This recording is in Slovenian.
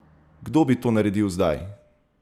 Kdo bi to naredil zdaj?